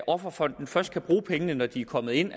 offerfonden først kan bruge pengene når de er kommet ind